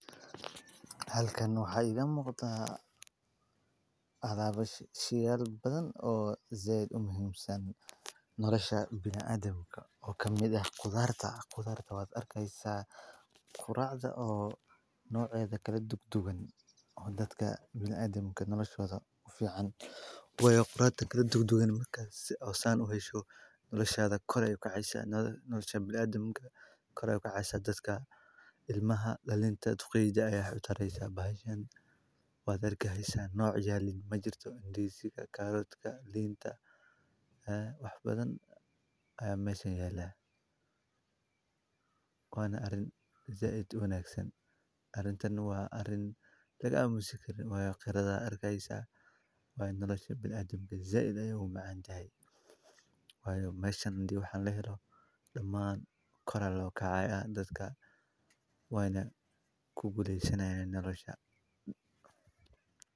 Halkan waxa ay iga moqda adaaba shiir badan oo zayd u muhiimsan nolosha bilaadimka oo ka mid ah qudarta. Qudaarka waa arkaysa quraacda oo nooc ee kala duudugan dadka bilaadimka noloshoda u fiican. Way quraatada kala duudugan marka si awasan u hesho noloshyada koray ka caisa nolosha bilaadimka, koray ka caisa dadka. Ilmaha lalinta, tuqiija iyo xitaa bahashan waa dargehaysa nooc yaalin majirto indhishiga kaaroodka liinta ah wax badan ayaa meesha yeelay. Wana arin zayd una hagsan arrintan waa arin lagu amustay inoo way khirada arkaysa waay noloshe bilaadimka. Zayd ayagu macaan yahay waayo mashan haddii wax aan la helo dhammaan korra loo kacay ah dadka waayna ku guleysanaya nolosha.